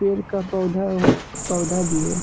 पेड़ का पौधा हुआ पौधा भी है ।